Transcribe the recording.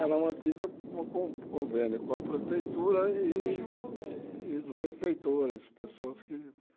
Ela é mantida por con convênio com a prefeitura e os benfeitores, pessoas que